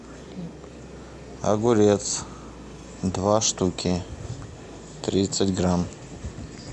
огурец два штуки тридцать грамм